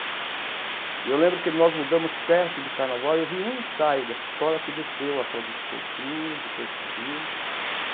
E eu lembro que nós mudamos perto do Carnaval e eu vi um ensaio dessa escola que desceu, a Fradique Coutinho, depois subiu.